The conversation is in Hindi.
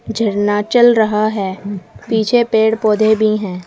झरना चल रहा है पीछे पेड़ पौधे भी हैं।